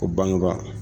Ko bangeba